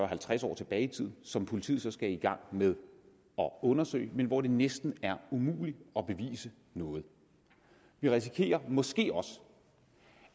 halvtreds år tilbage i tiden som politiet så skal i gang med at undersøge men hvor det næsten er umuligt at bevise noget vi risikerer måske også